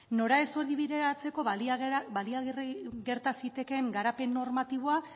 nora ez hori bideratzeko baliagarri gerta zitekeen garapen normatiboa